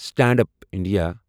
stand up India